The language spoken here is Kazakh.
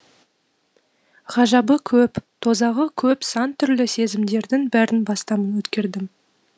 ғажабы көп тозағы көп сан түрлі сезімдердің бәрін бастан өткердім